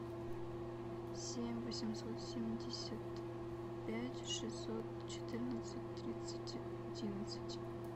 семь восемьсот семьдесят пять шестьсот четырнадцать тридцать одиннадцать